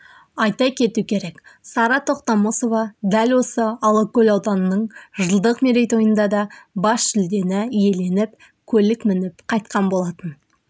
айта кету керек сара тоқтамысова дәл осы алакөл ауданының жылдық мерейтойында да бас жүлдені иеленіп көлік мініп қайтқан болатын